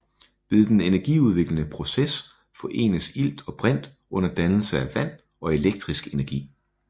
Ved den energiudviklende proces forenes ilt og brint under dannelse af vand og elektrisk energi